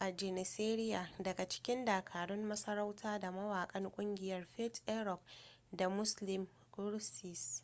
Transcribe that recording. a janissary daga cikin dakarun masarauta da mawakan kungiyar fatih erkoç da müslüm gürses